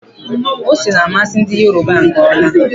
Ose na-amasị ndi Yoruba nke ọma.